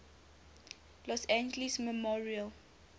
los angeles memorial